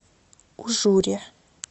ужуре